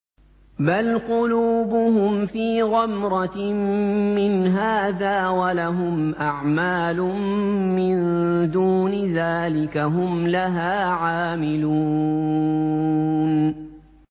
بَلْ قُلُوبُهُمْ فِي غَمْرَةٍ مِّنْ هَٰذَا وَلَهُمْ أَعْمَالٌ مِّن دُونِ ذَٰلِكَ هُمْ لَهَا عَامِلُونَ